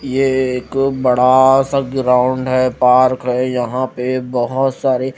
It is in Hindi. ये एक बड़ा सा ग्राउंड है पार्क है यहां पे बहोत सारे--